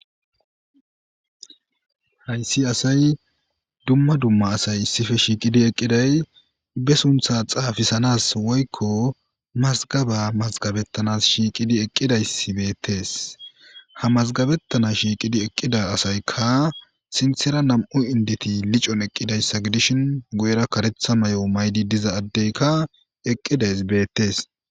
Hayssi assay dumma dumma asay issippe shiiqidi eqqiday ba sunththa xaafissanas woykko mazigaba mazgabettanas shiqqidi eqqidaysi bettes ha mazigabettana shiqqidi eqqida assaykka sinththera nam'u inddeti liccon eqqidayssa giddishin guyyera kareththa mayo mayida diiza addeyka eqqidays bettes.